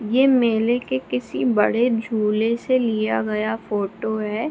ये मेले के किसी बड़े झूले से लिया गया फोटो है।